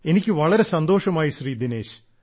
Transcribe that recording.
എനിക്ക് വളരെ സന്തോഷമായി ശ്രീ ദിനേശ്